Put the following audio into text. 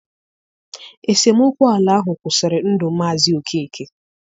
Esemokwu ala ahụ kwụsịrị ndụ Mazi Okeke.